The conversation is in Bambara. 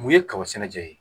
Mun ye kaba sɛnɛjɛ ye